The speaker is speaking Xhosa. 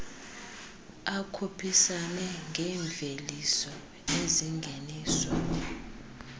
akhuphisane ngeemveliso ezingeniswa